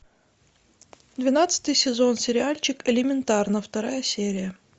двенадцатый сезон сериальчик элементарно вторая серия